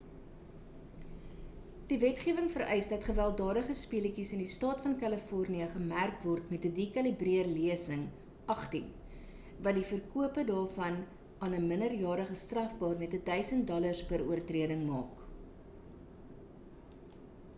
die wetgewing vereis dat gewelddadige speletjies in die staat van kalifornië gemerk word met 'n dekalibreer lesing 18 wat die verkope daarvan aan 'n minderjarige strafbaar met $1000 per oortreding maak